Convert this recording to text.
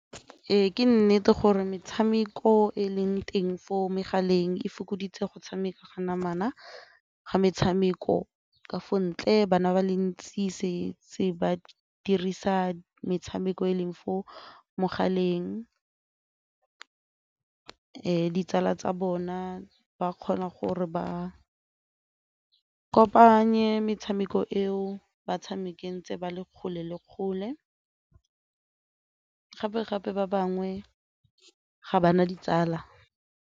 Ee, ke nnete gore metshameko e leng teng for megaleng e fokoditse go tshameka ka namana ga metshameko ka fo ntle bana ba le ntsi ba dirisa metshameko e leng fo mogaleng ditsala tsa bona ba kgona gore ba kopanya le metshameko eo ba tshamekang tse ba le kgole le kgole gape-gape ba bangwe ga ba na ditsala.